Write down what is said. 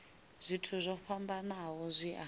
zwithu zwo fhambanaho zwi a